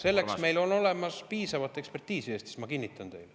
Selleks meil on olemas piisavalt ekspertiisi Eestis, ma kinnitan teile.